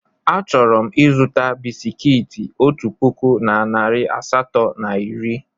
Achọrọ m ịzụta bisikiiti otu puku na narị asatọ na iri.